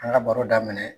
An ka baro daminɛ